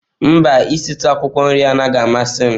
Mba, isitu akwụkwọ nri anaghị amasị m.